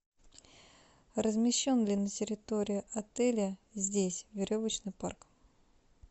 размещен ли на территории отеля здесь веревочный парк